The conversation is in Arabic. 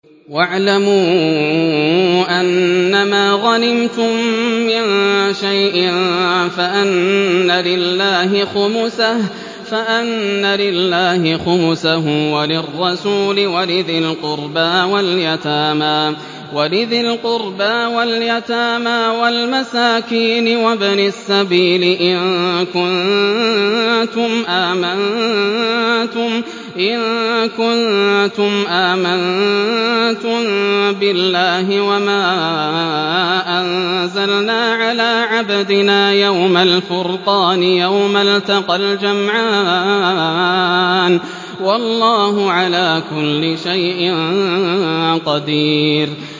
۞ وَاعْلَمُوا أَنَّمَا غَنِمْتُم مِّن شَيْءٍ فَأَنَّ لِلَّهِ خُمُسَهُ وَلِلرَّسُولِ وَلِذِي الْقُرْبَىٰ وَالْيَتَامَىٰ وَالْمَسَاكِينِ وَابْنِ السَّبِيلِ إِن كُنتُمْ آمَنتُم بِاللَّهِ وَمَا أَنزَلْنَا عَلَىٰ عَبْدِنَا يَوْمَ الْفُرْقَانِ يَوْمَ الْتَقَى الْجَمْعَانِ ۗ وَاللَّهُ عَلَىٰ كُلِّ شَيْءٍ قَدِيرٌ